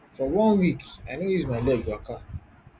for one week i no use my leg waka